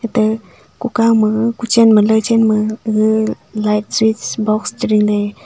te ku kao ma ku chen ma la chen ma gaga light switch box chering ley.